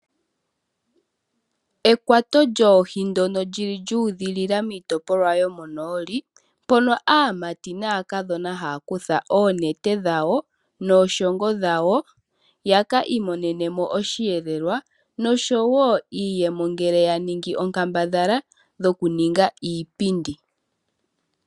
Ekwato lyoohi ndyono lyuudhilila miitopolwa yomonoli mpono aamatu naakadhona haya kutha oonete dhawo nooshongo dhawo yaka imonenemo oshiyelelwa niiyemo ngele ya ningi onkambadhala yokuninga iipindi.